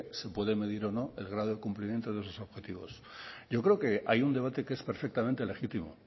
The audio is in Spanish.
se puede medir o no el grado de cumplimiento de esos objetivos yo creo que hay un debate que es perfectamente legítimo